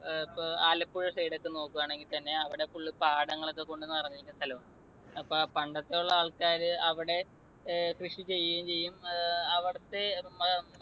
ഏർ ഇപ്പോ ആലപ്പുഴ side ഒക്കെ നോക്കുവാണെങ്കിൽത്തന്നെ അവിടെ full പാടങ്ങൾ ഒക്കെ കൊണ്ട് നിറഞ്ഞിരിക്കുന്ന സ്ഥലാണ്. അപ്പോ ആ പണ്ടത്തെയുള്ള ആൾക്കാർ അവിടെ ഏർ കൃഷി ചെയ്യുകയും ചെയ്യും, ഏർ അവിടത്തെ